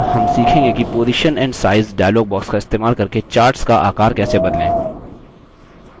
अगला हम सीखेंगे कि position and size dialog box का इस्तेमाल करके charts का आकर कैसे बदलें